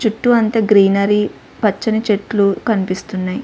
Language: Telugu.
చుట్టూ అంత గ్రీనరీ పచ్చని చెట్లు కనిపిస్తున్నాయి.